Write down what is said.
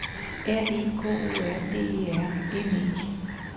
R E K O R D E R N E